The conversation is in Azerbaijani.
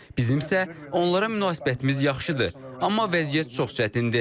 Bizim isə onlara münasibətimiz yaxşıdır, amma vəziyyət çox çətindir.